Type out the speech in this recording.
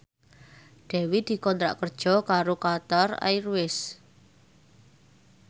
Dewi dikontrak kerja karo Qatar Airways